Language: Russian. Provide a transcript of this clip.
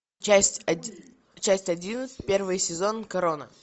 часть одиннадцать первый сезон корона